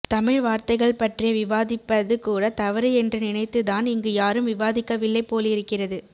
தமிழ் வார்த்தைகள் பற்றிய விவாதிப்பது கூட தவறு என்று நினைத்துதான் இங்கு யாரும் விவாதிக்கவில்லை போலிருக்கிறது